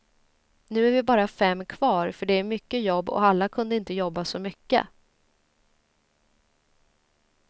Nu är vi bara fem kvar för det är mycket jobb och alla kunde inte jobba så mycket.